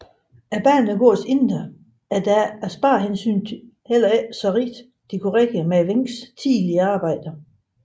Banegårdens indre er da af sparehensyn heller ikke så rigt dekoreret som Wencks tidligere arbejder